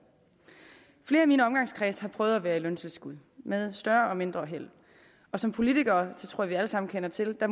flere i min omgangskreds har prøvet at være i løntilskud med større eller mindre held som politikere tror jeg at vi alle sammen kender til at